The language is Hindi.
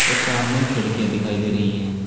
और सामने खिड़कियां दिखाई दे रही हैं।